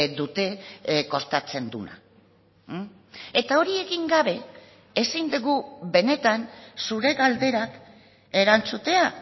dute kostatzen duena eta hori egin gabe ezin dugu benetan zure galderak erantzutea